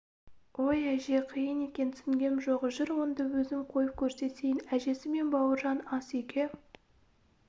ой әже қиын екен түсінгем жоқ жүр онда өзім қойып көрсетейін әжесі мен бауыржан ас үйге